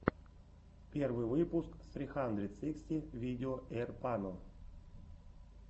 первый выпуск сри хандрэд сыксти видео эйрпано